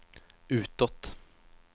utåt